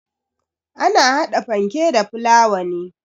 Ana hada fanke da fulawa ne.